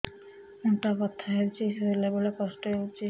ଅଣ୍ଟା ବଥା ହଉଛି ଶୋଇଲା ବେଳେ କଷ୍ଟ ହଉଛି